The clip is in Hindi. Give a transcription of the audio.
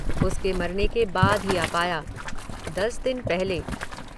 उसके मरने के बाद आ पाया। दस दिन पहले